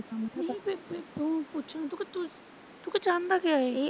ਮੈਂ ਕਿਹਾ ਫਿਰ ਤੂੰ ਉਨੂੰ ਪੁੱਛ ਕਿ ਤੂੰ ਚਾਹੁੰਦਾ ਕਿਆ ਆ ਇਹ।